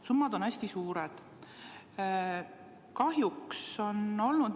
Summad on hästi suured.